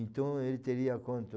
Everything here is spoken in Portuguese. Então ele teria quanto...